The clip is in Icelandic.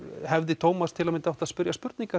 hefði Tómas átt að spyrja spurninga